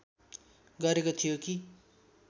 गरेको थियो कि